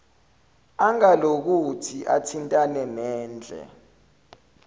angalokothi athintane nendle